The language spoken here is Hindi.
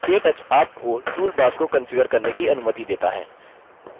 केटच आपको toolbars को कंफिगर करने की अनुमति देता है